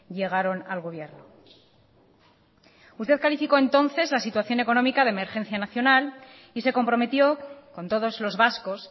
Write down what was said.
llegaron al gobierno usted calificó entonces la situación económica de emergencia nacional y se comprometió con todos los vascos